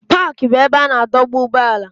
Paaki bụ ebe a na-adọba ụgbọala.